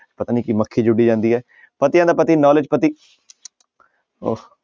ਪਤਾ ਨੀ ਕੀ ਮੱਖੀ ਜਿਹੀ ਉੱਡੀ ਜਾਂਦੀ ਹੈ ਪਤੀਆਂ ਦਾ ਪਤੀ knowledge ਪਤੀ ਉਹ